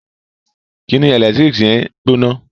Kíni ẹlẹtíríkì yẹn gbóná